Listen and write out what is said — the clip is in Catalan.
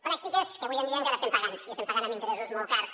pràctiques que avui en dia encara estem pagant i estem pagant amb interessos molt cars